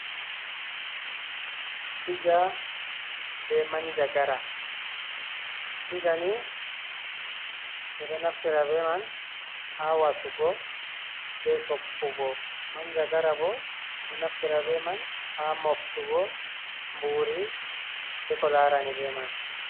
Diga be manjagara. Digani be do naftira be man ha wasugo be soppugo, manjagara bo be do naftira be man ha muftugo mburi be ko larani be man.